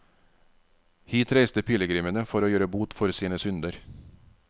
Hit reiste pilegrimene for å gjøre bot for sine synder.